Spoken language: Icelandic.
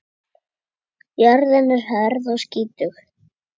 Jörðin er hörð og skítug.